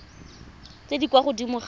tse di kwa godimo ga